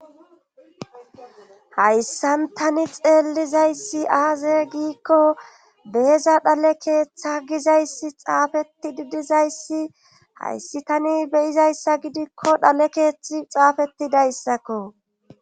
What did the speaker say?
hayssan tani xeellizayssi aaze giikko beeza dhale keeththa gizayssi xaafetti didizayssi hayssi tani beyizayssa gidikko dhale keeththi xaafetidayssakko